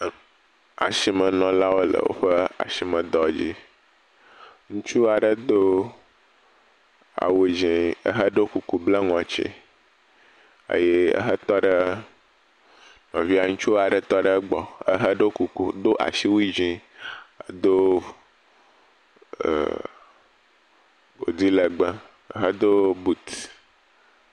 Asimenɔlawo le woƒe asime dɔ dzi ŋutsu aɖe do awu dzɛ̃ eheɖo kuku bla ŋɔti eye ehe tɔ ɖe nɔvia ŋutsu aɖe tɔ ɖe egbɔ ehe ɖo kuku do asiwui dzɛ̃ do eeee…..godi legbee hedo kot.